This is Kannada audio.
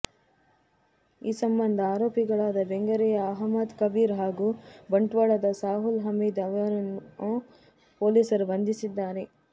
ಈ ಸಂಬಂಧ ಅರೋಪಿಗಳಾದ ಬೆಂಗರೆಯ ಅಹಮ್ಮದ್ ಕಬೀರ್ ಹಾಗೂ ಬಂಟ್ವಾಳದ ಸಾಹುಲ್ ಹಮೀದ್ ಅವರುಗಳನ್ನು ಪೋಲಿಸರು ಬಂಧಿಸಿದ್ದಾರೆ